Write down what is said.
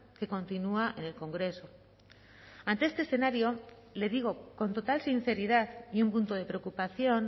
que continúa en el congreso ante este escenario le digo con total sinceridad y un punto de preocupación